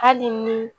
Hali ni